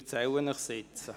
Ich erzähle es Ihnen nun.